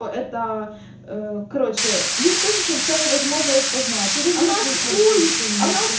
это короче блин пишется невозможно распознать